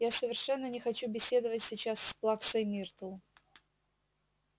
я совершенно не хочу беседовать сейчас с плаксой миртл